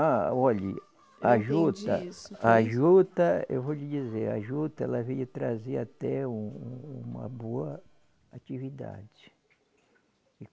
Ah, olhe, a juta. Eu entendi isso. A juta, eu vou lhe dizer, a juta ela veio trazer até um um, uma boa atividade.